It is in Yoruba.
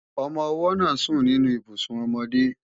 Ọmọ-ọwọ́ náà sùn nínú Ibùsùn ọmọdé